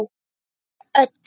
Ykkur öllum!